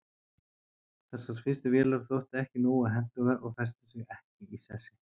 Þessar fyrstu vélar þóttu ekki nógu hentugar og festu sig ekki í sessi.